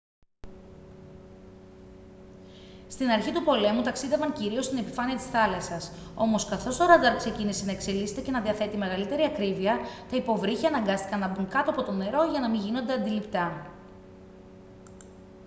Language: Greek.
στην αρχή του πολέμου ταξίδευαν κυρίως στην επιφάνεια της θάλασσας όμως καθώς το ραντάρ ξεκίνησε να εξελίσσεται και να διαθέτει μεγαλύτερη ακρίβεια τα υποβρύχια αναγκάστηκαν να μπουν κάτω από το νερό για να μην γίνονται αντιληπτά